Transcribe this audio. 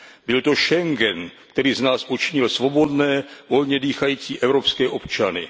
Byl to Schengen, který z nás učinil svobodné, volně dýchající evropské občany.